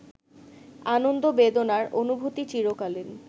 আনন্দ-বেদনার অনুভূতি চিরকালীন